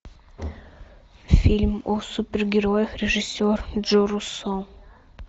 фильм о супергероях режиссер джо руссо